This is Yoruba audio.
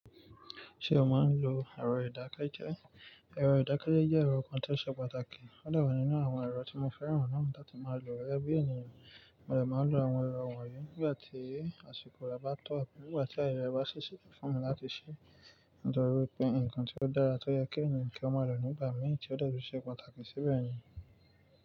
Ṣe o maa n lo ẹrọ idakẹjẹ? Ẹrọ idakẹjẹ jẹ ẹrọ kan to ṣe pàtàkì, o dà wa nínú àwọn ẹrọ tí mo fẹ́ràn náà latí máa lò gegẹ bi ènìyàn. Mo dè máa lo àwọn ẹrọ wọnyí nígbà tí àsìkò rẹ bá tọ́, nígbà tí ayẹyẹ bá ṣi ṣẹ́to fún mi láti ṣe ìdánró pé ǹnkan tí ó dára tó yẹ kí ènìyàn kí ó máa lò nígbà mì tí ó dàbí iṣe pàtàkì sí bẹ́yẹ̀n.